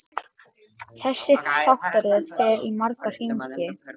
Þessi þáttaröð fer í marga hringi.